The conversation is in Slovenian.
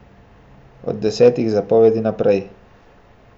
Od desetih zapovedi naprej.